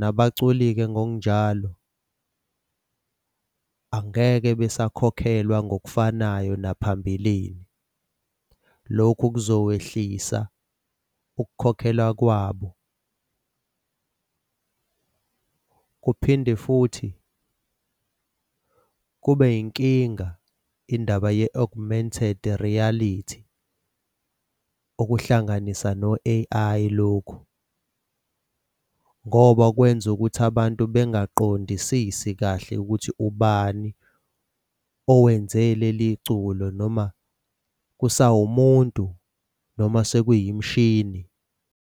Nabaculi-ke ngokunjalo angeke besakhokhelwa ngokufanayo naphambilini. Lokhu kuzokwehlisa ukukhokhelwa kwabo. Kuphinde futhi kube yinkinga indaba ye-augmented reality, okuhlanganisa no-A_I lokhu, ngoba okwenza ukuthi abantu bengaqondisisi kahle ukuthi ubani owenze leli culo noma kusawumuntu noma sekuyimishini.